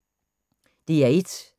DR1